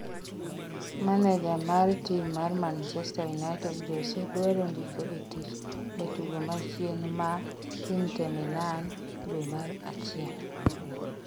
maneja mar tim mar manchester united Jose dwaro ndiko e tich jatugo machien ma intee milan dwe mar achiel